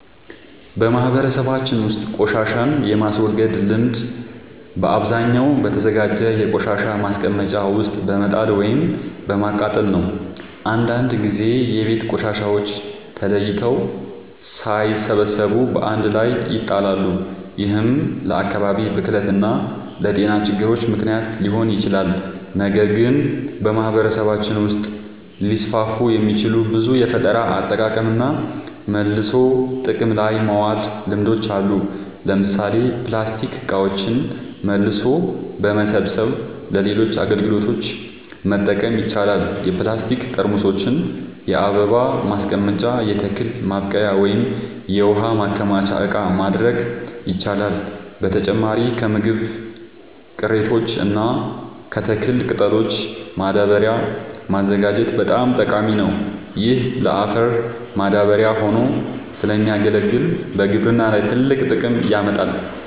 በማህበረሰባችን ውስጥ ቆሻሻን የማስወገድ ልምድ በአብዛኛው በተዘጋጀ የቆሻሻ ማስቀመጫ ውስጥ በመጣል ወይም በማቃጠል ነው። አንዳንድ ጊዜ የቤት ቆሻሻዎች ተለይተው ሳይሰበሰቡ በአንድ ላይ ይጣላሉ፤ ይህም ለአካባቢ ብክለት እና ለጤና ችግሮች ምክንያት ሊሆን ይችላል። ነገር ግን በማህበረሰባችን ውስጥ ሊስፋፉ የሚችሉ ብዙ የፈጠራ አጠቃቀምና መልሶ ጥቅም ላይ ማዋል ልምዶች አሉ። ለምሳሌ ፕላስቲክ እቃዎችን መልሶ በመሰብሰብ ለሌሎች አገልግሎቶች መጠቀም ይቻላል። የፕላስቲክ ጠርሙሶችን የአበባ ማስቀመጫ፣ የተክል ማብቀያ ወይም የውሃ ማከማቻ እቃ ማድረግ ይቻላል። በተጨማሪም ከምግብ ቅሪቶች እና ከተክል ቅጠሎች ማዳበሪያ ማዘጋጀት በጣም ጠቃሚ ነው። ይህ ለአፈር ማዳበሪያ ሆኖ ስለሚያገለግል በግብርና ላይ ትልቅ ጥቅም ያመጣል።